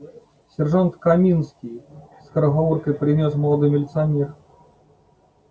сержант каминский скороговоркой произнёс молодой милиционер